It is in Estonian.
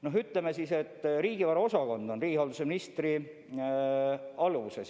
Noh, ütleme siis, et riigivara osakond on riigihalduse ministri alluvuses.